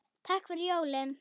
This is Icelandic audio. Takk fyrir jólin.